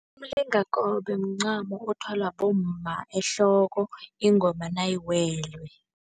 Umlingakobe mncamo othwalwa bomma ehloko ingoma nayiwele.